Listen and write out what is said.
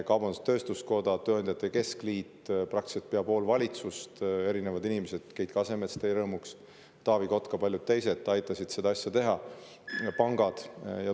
Kaubandus-tööstuskoda, tööandjate keskliit, praktiliselt pea pool valitsust, erinevad inimesed, teie rõõmuks Keit Kasemets, Taavi Kotka ja paljud teised aitasid seda asja teha, ka pangad.